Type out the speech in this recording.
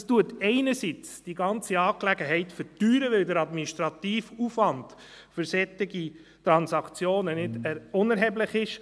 Das verteuert einerseits die ganze Angelegenheit, weil der administrative Aufwand für solche Transaktionen nicht unerheblich ist.